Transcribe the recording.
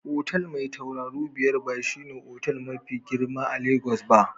Otal Mai tauraru biyar ba shine otal mafi girma a Lagos ba.